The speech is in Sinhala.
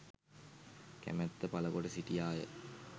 කැමැත්ත පළ කොට සිටියා ය.